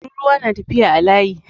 Tururuwa na tafiya a layi